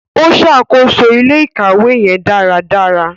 O ṣakoso ilé-ìkawe yẹn daradara.